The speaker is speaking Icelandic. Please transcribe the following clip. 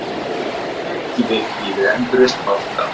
Þrekvirki við endurreisn banka